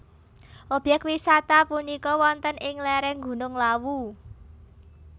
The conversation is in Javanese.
Obyek wisata punika wonten ing lereng Gunung Lawu